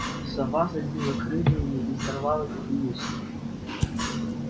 сова забила крыльями и сорвалась вниз